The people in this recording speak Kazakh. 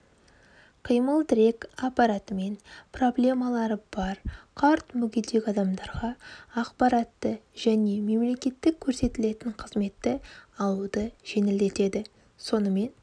қимыл-тірек аппаратымен проблемалары бар қарт мүгедек адамдарға ақпаратты және мемлекеттік көрсетілетін қызметті алуды жеңілдетеді сонымен